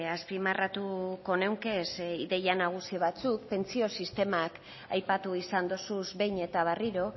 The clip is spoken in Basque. azpimarratuko nuke ideia nagusi batzuk pentsio sistemak aipatu izan dozuz behin eta berriro